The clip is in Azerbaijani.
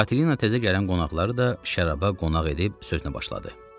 Katelina təzə gələn qonaqları da şəraba qonaq edib sözünə başladı.